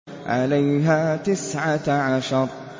عَلَيْهَا تِسْعَةَ عَشَرَ